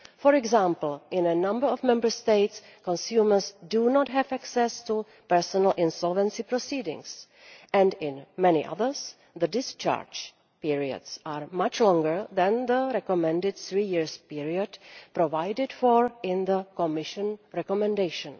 EU. For example, in a number of Member States consumers do not have access to personal insolvency proceedings, and in many others the discharge periods are much longer than the recommended three year period provided for in the Commission recommendation.